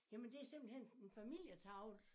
Jamen det simpelthen en en familietavle